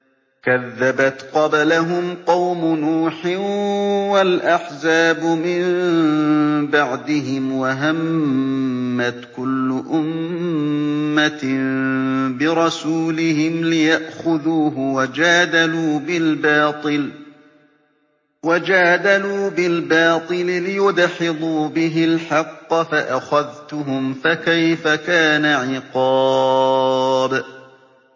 كَذَّبَتْ قَبْلَهُمْ قَوْمُ نُوحٍ وَالْأَحْزَابُ مِن بَعْدِهِمْ ۖ وَهَمَّتْ كُلُّ أُمَّةٍ بِرَسُولِهِمْ لِيَأْخُذُوهُ ۖ وَجَادَلُوا بِالْبَاطِلِ لِيُدْحِضُوا بِهِ الْحَقَّ فَأَخَذْتُهُمْ ۖ فَكَيْفَ كَانَ عِقَابِ